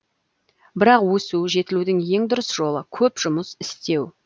бірақ өсу жетілудің ең дұрыс жолы көп жұмыс істеу